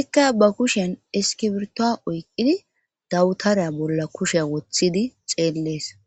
ikka ba kushen eskibirtoa oyqidi dawutareya bolla kushee woththidi xeellees